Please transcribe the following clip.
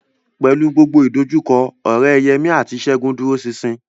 Pẹ̀lú gbogbo ìdojúkọ, ọ̀rẹ́ Yemí àti Ṣẹ́gun dúró ṣinṣin